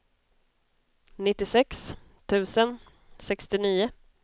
nittiosex tusen sextionio